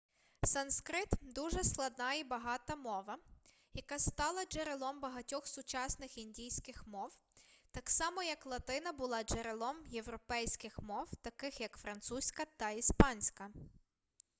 санскрит дуже складна і багата мова яка стала джерелом багатьох сучасних індійських мов так само як латина була джерелом європейських мов таких як французька та іспанська